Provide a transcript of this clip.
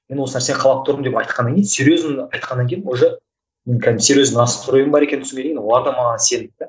мен осы нәрсені қалап тұрмын деп айтқаннан кейін серьезно айтқаннан кейін уже мен кәдімгі серьезный настройым бар екенін түсінгеннен кейін олар да маған сенді де